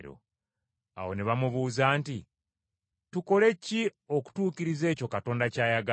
Awo ne bamubuuza nti, “Tukole ki okutuukiriza ekyo Katonda ky’ayagala?”